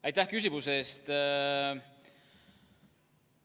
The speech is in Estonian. Aitäh küsimuse eest!